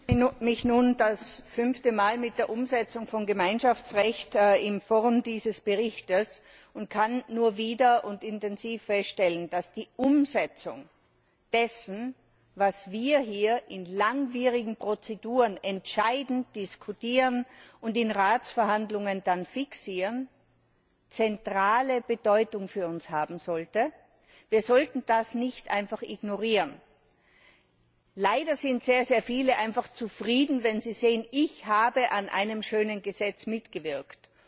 Herr Präsident! Ich beschäftige mich nun in Form dieses Berichts zum fünften Mal mit der Umsetzung von Gemeinschaftsrecht und kann nur wieder und intensiv feststellen, dass die Umsetzung dessen, was wir hier in langwierigen Prozeduren entscheiden, diskutieren und in Ratsverhandlungen dann fixieren, zentrale Bedeutung für uns haben sollte. Wir sollten das nicht einfach ignorieren. Leider sind sehr viele einfach zufrieden, wenn sie sehen Ich habe an einem schönen Gesetz mitgewirkt.